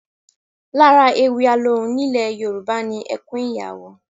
Lára ewì alohùn ní ilẹ̀ Yorùbá ni ẹkún ìyàwó